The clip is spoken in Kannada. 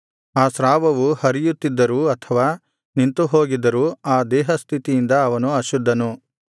ಆ ಸ್ರಾವವು ಹರಿಯುತ್ತಿದ್ದರು ಅಥವಾ ನಿಂತುಹೋಗಿದ್ದರು ಆ ದೇಹಸ್ಥಿತಿಯಿಂದ ಅವನು ಅಶುದ್ಧನು